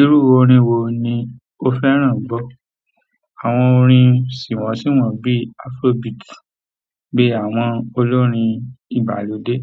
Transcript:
Irú orín wo ni o fẹ́ràn gbọ́? Àwọn orin sìmọ̀símọ̀ bíi afrobeat, bí àwọn olórin ìgbàlódé,